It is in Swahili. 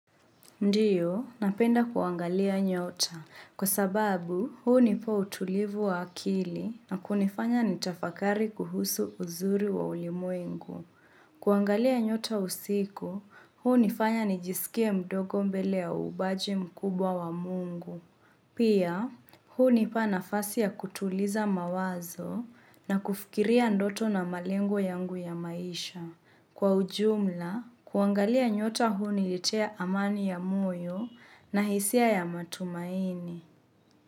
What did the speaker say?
Ndiyo, napenda kuangalia nyota. Kwa sababu, huunipa utulivu wa akili na kunifanya nitafakari kuhusu uzuri wa ulimwengu. Kuangalia nyota usiku, huunifanya nijisikie mdogo mbele ya ubaji mkubwa wa mungu. Pia, huunipa nafasi ya kutuliza mawazo na kufikiria ndoto na malengo yangu ya maisha. Kwa ujumla, kuangalia nyota huunilitea amani ya moyo na hisia ya matumaini.